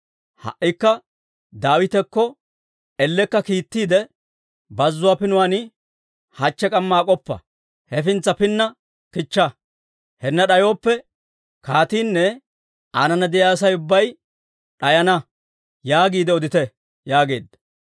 Ha"ikka Daawitakko ellekka kiittiide, ‹Bazzuwaa pinuwaan hachche k'amma ak'oppa; hefintsa pinna kichcha! Hinna d'ayooppe, kaatiinne aanana de'iyaa Asay ubbay d'ayana› yaagiide odite» yaageedda.